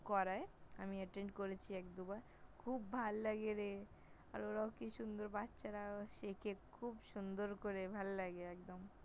করায়, আমি Attend করেছি এক-দুবার । খুব ভাল লাগে রে, আর ওরাও কি সুন্দর বাচ্চা রাও শেখে, খুব সুন্দর করে ভাল লাগে একদম ।